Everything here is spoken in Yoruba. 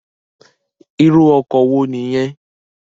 Irù òkò wó ni yèn?